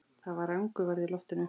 Það var angurværð í loftinu.